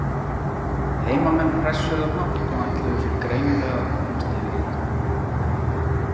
Heimamenn pressuðu hátt og ætluðu sér greinilega að komast yfir í leiknum.